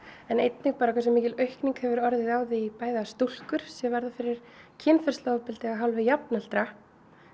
en einnig hversu mikil aukning hefur orðið á því að stúlkur verði fyrir kynferðisofbeldi af hálfu jafnaldra